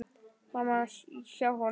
Mamma hans hjá honum.